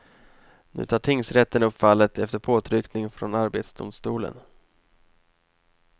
Nu tar tingsrätten upp fallet efter påtryckning från arbetsdomstolen.